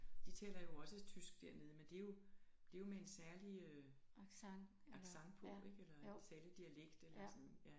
De taler jo også tysk dernede men det jo det jo med en særlig øh accent på ikke eller en særlig dialekt eller sådan ja